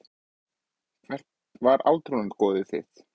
Hvert var átrúnaðargoð þitt?